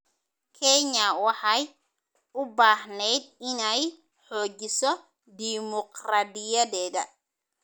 Kenya waxay u baahneyd inay xoojiso dimuqraadiyadeeda.